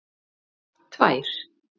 tvær